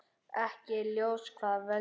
Ekki er ljóst hvað veldur.